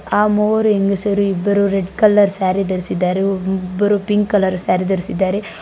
ಆ ಮೂವರು ಹೆಂಗಸರು ಇಬ್ಬರು ರೆಡ್ ಕಲರ್ ಸ್ಯಾರಿ ಧರಿಸಿದ್ದಾರೆ ಒಬ್ ಇಬ್ಬರು ಪಿಂಕ್ ಕಲರ್ ಸ್ಯಾರಿ ಧರಿಸಿದ್ದಾರೆ.